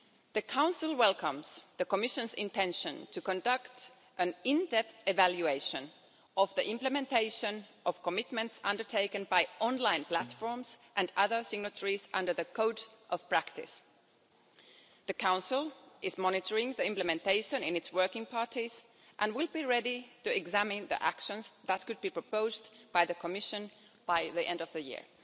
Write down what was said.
The Council welcomes the Commission's intention to conduct an in depth evaluation of the implementation of commitments made by online platforms and other signatories under the code of practice. The Council is monitoring the implementation in its working parties and will be ready to examine action that could be proposed by the Commission by the end of the year.